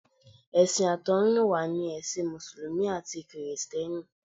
Ẹ̀sìn àtọ̀húnrìnwá ni ẹ̀sìn mùsùlùmí àti kìrìsìtẹ́nì.